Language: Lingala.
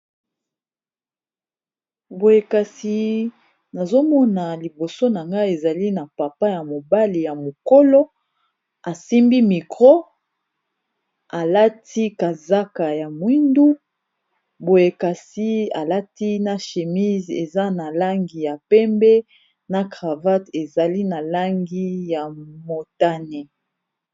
boyekasi nazomona liboso na nga ezali na papa ya mobali ya mokolo asimbi mikro alati kazaka ya mwindu boyekasi alati na shemise eza na langi ya pembe na cravate ezali na langi ya motane